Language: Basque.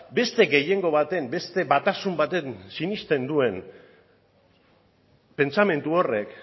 beste gehiengo baten beste batasun baten sinesten duen pentsamendu horrek